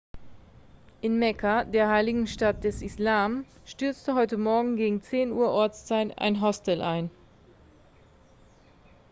in mekka der heiligen stadt des islam stürzte heute morgen gegen 10 uhr ortszeit ein hostel ein